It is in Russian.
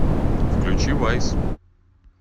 включи вайз